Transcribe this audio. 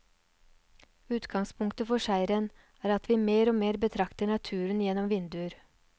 Utgangspunktet for serien er at vi mer og mer betrakter naturen gjennom vinduer.